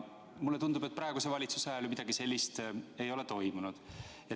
Mulle tundub, et praeguse valitsuse ajal midagi sellist ei ole toimunud.